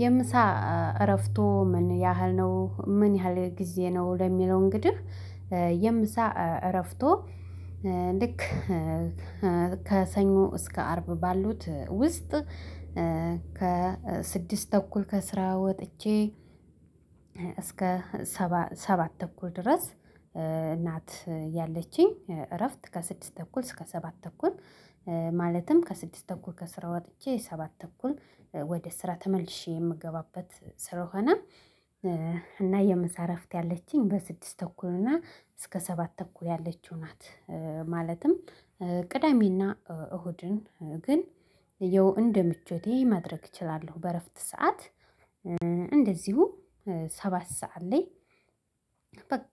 የምሳ እረፍቶ ምን ያህል ነው? ምን ያህል ጊዜ ነው? ለሚለው እንግዲህ የምሳ እረፍቶ ልክ ከሰኞ እስከ አርብ ባሉት ውስጥ ከስድስት ተኩል ከስራ ወጥቼ እስከ ሰባት ሰባት ተኩል ድረስ እናት ያለችኝ። እረፍት ከስድስት ተኩል እስከ ሰባት ተኩል ማለትም ከስድስት ተኩል ከስራ ወጥቼ ሰባት ተኩል ወደ ስራ ተመልሼ የምገባበት ስለሆነ እና የምሳ እረፍት ያለችኝ በስድስት ተኩል እና እስከ ሰባት ተኩል ያለችው ናት። ማለትም ቅዳሜና እሁድን ግን ያው እንደ ምቾቴ ማድረግ እችላለሁ። በእረፍት ሰዓት እንደዚሁ ሰባት ሰዓት ላይ በቃ